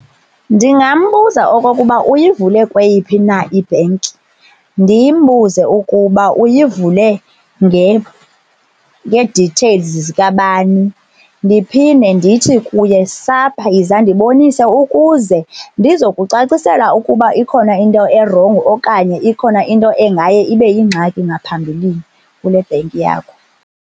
Ndingambuza okokuba uyivule kweyiphi na ibhenki, ndimbuze ukuba uyivule ngee-details zikabani. Ndiphinde ndithi kuye sapha yiza ndibonise ukuze ndizokucacisela ukuba ikhona into erongo okanye ikhona into engaye ibe yingxaki ngaphambilini kule bhenki yakho.